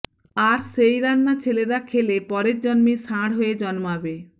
আর সেই রান্না ছেলেরা খেলে পরের জন্মে ষাঁড় হয়ে জন্মাবে